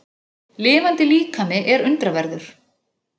Lifandi líkami er undraverður.